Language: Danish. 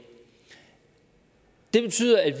det betyder at